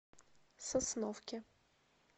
сосновке